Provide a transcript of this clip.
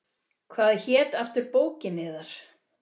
Hvað hét aftur bókin yðar?